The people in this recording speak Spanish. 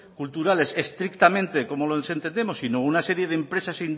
culturales estrictamente como lo entendemos sino a una serie de empresas